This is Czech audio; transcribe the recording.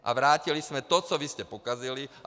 A vrátili jsme to, co vy jste pokazili.